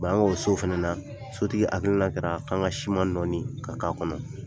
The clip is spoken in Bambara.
an k'o so fana na sotigi hakilila kɛra k'an ka siman nɔɔni ka k'a kɔnɔ.